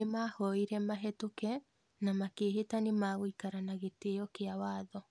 Nĩmahoire mahĩtuke na makĩhĩta nĩmeguikara na gĩtio kĩa watho